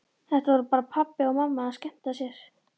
Þetta voru bara pabbi og mamma að skemmta sér.